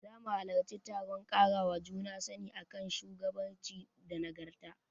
Zamu halarci taron ƙarawa juna sani a kan shugabanci da nagarta.